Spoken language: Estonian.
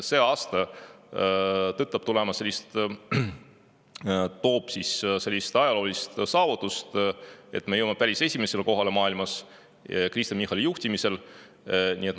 See aasta tõotab tuua sellise ajaloolise saavutuse, et me jõuame Kristen Michali juhtimisel päris esimesele kohale maailmas.